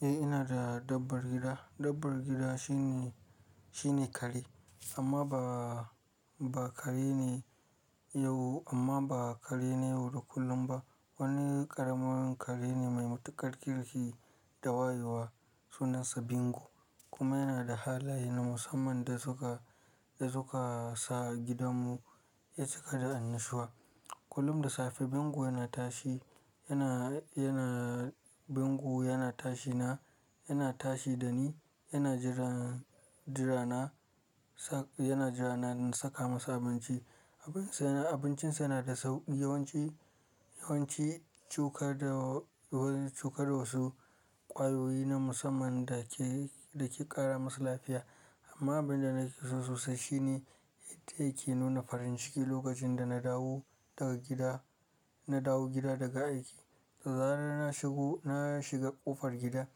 Eh ina da dabbar gida. Dabbar gida shine, shine kare amma ba, ba kare ne yau amma ba kare ne yau da kullum ba. Wani ƙaramar kare ne mai matuƙar kirki da wayewa sunansa Bingo kuma yana da halaye na musamman da suka, da suka sa gidanmu ya cika da annashuwa. Kullum da safe Bingo yana tashi, yana, yana Bingo yana tashi na, yana tashi da ni, yana jira, jira na sa, yana jira na saka masa abinci. Abincin sa yana da sauki yawanci, yawanci cuka da wasu, cuka da wasu ƙwayoyi na musamman da ke, da ke ƙara masa lafiya. Amma abin da nake so sosai shine yadda yake nuna farin ciki lokacin da na dawo daga gida, na dawo gida daga aiki. Da zarar na shigo, na shiga ƙofar gida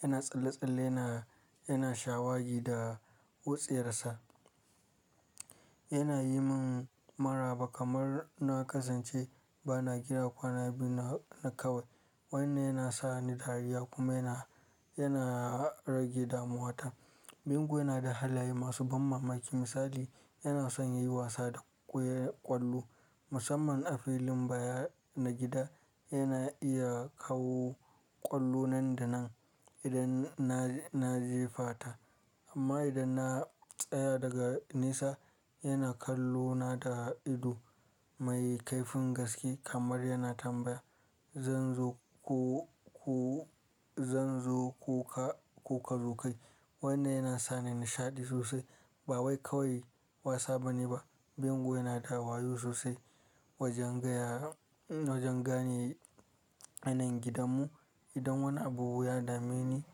yana tsalle-tsalle yana, yana shawagi da wutsi yarsa. Yana yi min maraba kamar na kasance bana gida kwana biyu na, na kawai. Wanne yana sa ni dariya kuma yana, yana rage damuwa ta. Bingo yana da halaye masu ban mamaki misali yana son yi wasa da ƙwallo musamman a filin baya na gida. Yana iya kawo ƙwallo nan da nan idan na, na jefa ta amma idan na tsaya daga nisa yana kallona da ido mai kaifin gaske kamar yana tambaya “Zan zo ko, ko zan zo ko ka, ko ka zo kai?” Wanne yana sa ni nishaɗi sosai. Ba wai kawai wasa bane ba, Bingo yana da wayo sosai wajen gaya, wajen gane yanayin gidanmu. Idan wani abu ya dame ni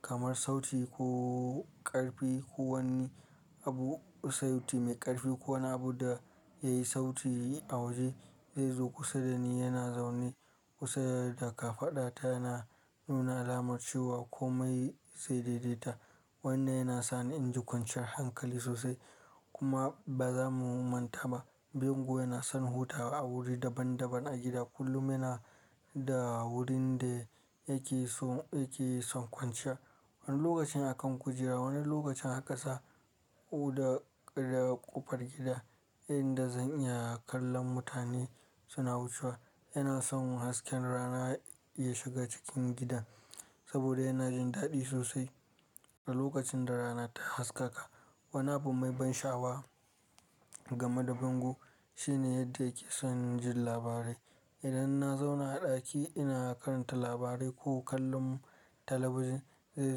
kamar sauti ko ƙarfi ko wani abu, sauti mai ƙarfi ko wani abu da ya yi sauti a waje zai zo kusa da ni yana zaune kusa da kafada ta yana nuna alamar ciwo ko mai sai daidaita. Wanne yana sa ni in ji kwanciyar hankali sosai. Kuma ba za mu manta ba Bingo yana son hutawa a wuri daban daban a gida kullum yana da wurin da yake so, yake son kwanciya. Wani lokacin a kan kujera, wani lokacin a ƙasa ko da, da ƙofar gida inda zan iya kallon mutane suna wucewa. Yana son hasken rana ya shiga cikin gidan saboda yana jin daɗi sosai. Da lokacin da rana ta haskaka wani abu mai ban sha'awa game da Bingo shine yadda yake son jin labarai. Idan na zauna a ɗaki ina karanta labarai ko kallon talabijin, zai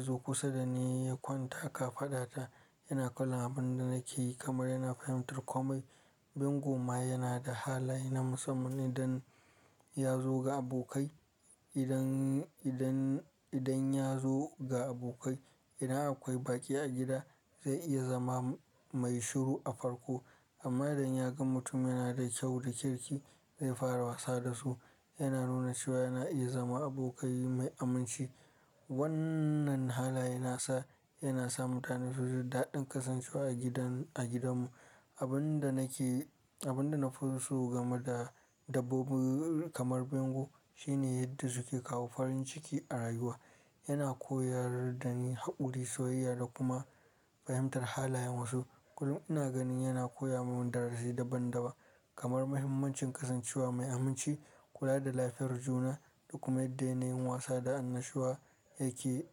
zo kusa da ni ya kwanta a kafada ta yana kallon abin da nake yi kamar yana fahimtar kome. Bingo ma yana da halaye na musamman idan ya zo ga abokai, idan, idan, idan ya zo ga abokai idan akwai baƙi a gida zai iya zama mai shiru a farko amma idan ya ga mutum yana da kyau da kirki zai fara wasa da su. Yana nuna cewa yana iya zama abokai mai aminci. Wannan halaye nasa yana sa mutane su ji daɗin kasancewa a gidan, a gidanmu. Abin da nake, abin da na so game da dabbobi kamar Bingo shine yadda suke kawo farin ciki a rayuwa. Yana koyar da ni haƙuri, soyayya da kuma fahimtar halayen wasu. Kullum ina ganin yana koya mun darasi daban daban kamar muhimmancin kasancewa mai aminci, kula da lafiyar juna da kuma yadda yin wasa da annashuwa yake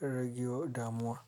rage damuwa.